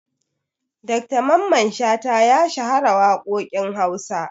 Dr mamman shata ya shahara waƙoƙin Hausa.